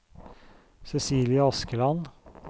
Cecilie Askeland